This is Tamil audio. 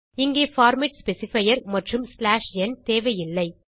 இங்கே பார்மேட் ஸ்பெசிஃபையர் மற்றும் n தேவையில்லை